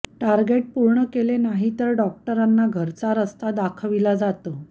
target पूर्ण केले नाही तर डॉक्टरांना घरचा रस्ता दाखविला जातो